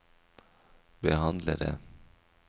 behandlere